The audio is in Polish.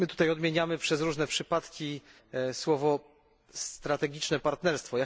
Odmieniamy tutaj przez różne przypadki słowa strategiczne partnerstwo.